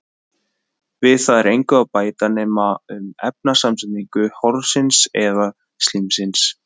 Við það er engu að bæta nema um efnasamsetningu horsins eða slímsins.